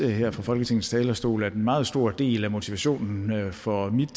her fra folketingets talerstol at en meget stor del af motivationen for mit